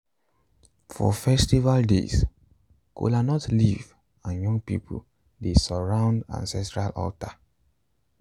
for festival days kolanut leaves and young people dey surround ancestral altar.